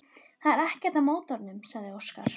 Það er ekkert að mótornum, sagði Óskar.